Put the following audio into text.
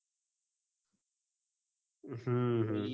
હમ હમ